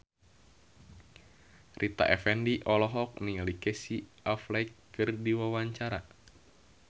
Rita Effendy olohok ningali Casey Affleck keur diwawancara